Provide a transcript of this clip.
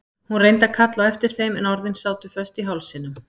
Hún reyndi að kalla á eftir þeim en orðin sátu föst í hálsinum.